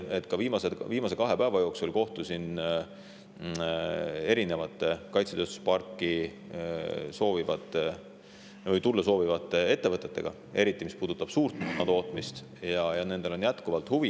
Aga ma kohtusin viimase kahe päeva jooksul erinevate kaitsetööstusparki tulla soovivate ettevõtetega ja kinnitan teile, et eriti mis puudutab suurmoona tootmist, nendel on jätkuvalt huvi.